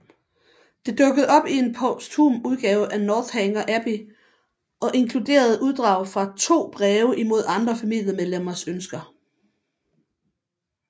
Det dukkede op i en posthum udgave af Northanger Abbey og inkluderede uddrag fra to breve imod andre familiemedlemmers ønsker